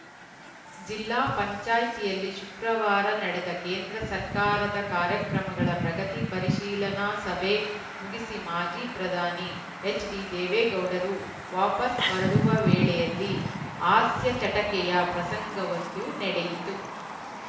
ಜಿಲ್ಲಾ ಪಂಚಾಯ್ತಿಯಲ್ಲಿ ಶುಕ್ರವಾರ ನಡೆದ ಕೇಂದ್ರ ಸರ್ಕಾರದ ಕಾರ್ಯಕ್ರಮಗಳ ಪ್ರಗತಿ ಪರಿಶೀಲನಾ ಸಭೆ ಮುಗಿಸಿ ಮಾಜಿ ಪ್ರಧಾನಿ ಎಚ್‌ಡಿದೇವೇಗೌಡರು ವಾಪಾಸ್‌ ಹೊರಡುವ ವೇಳೆಯಲ್ಲಿ ಹಾಸ್ಯ ಚಟಕೆಯ ಪ್ರಸಂಗವೊಂದು ನಡೆಯಿತು